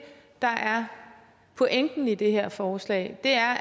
der er pointen med det her forslag det er